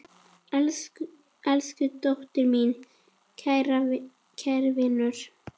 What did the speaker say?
Elsku Tóti, minn kæri vinur.